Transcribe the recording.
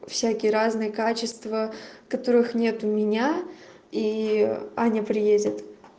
всякие разные качества которых нет у меня и аня приедет